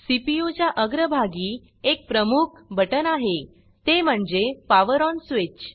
CPU च्या अग्र भागी एक प्रमुख बटन आहे ते म्हणजे पॉवर ONपावर ओन् स्वीच्